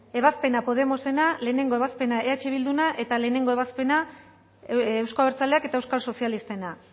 ebazpena podemosena batgarrena ebazpena eh bilduna eta batgarrena ebazpena euzko abertzaleak eta eusko sozialistena